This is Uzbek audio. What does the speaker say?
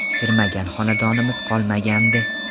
Kirmagan xonadonimiz qolmagandi.